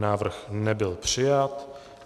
Návrh nebyl přijat.